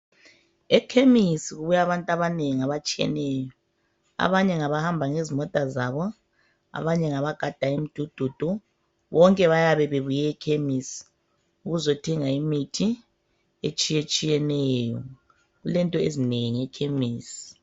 Ekhemisi kubuya abantu abanengi abatshiyeneyo , abanye ngabahamba ngezimota zabo abanye ngabagada imidududu, bonke bayabe bebuye ekhemisi ukuzothenga imithi etshiyetshiyeneyo, kulento ezinengi e ekhemesi.